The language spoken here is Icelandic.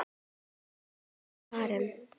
Rúnar og Karen.